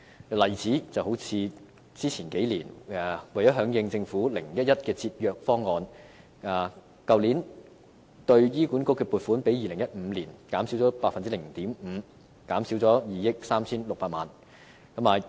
舉例說，為了響應政府 "0-1-1" 的節約方案，去年對香港醫院管理局的撥款比2015年減少 0.5%， 即減少2億 3,600 萬元。